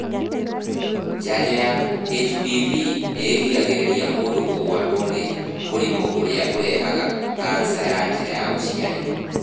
Njanjo ya HPV nĩĩgiragĩrĩa mũndũ kũgwatwo nĩ mũrimũ ũrĩa ũrehaga kanica ya njĩra ya ũciari